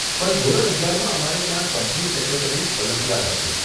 પણ ધોરણ અગિયારમાં અમારે ત્યાં કંપની સેક્રેટરીઝ ઓલિમ્પિયાડ હતું.